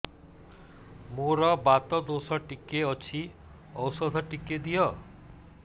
ମୋର୍ ବାତ ଦୋଷ ଟିକେ ଅଛି ଔଷଧ ଟିକେ ଦିଅ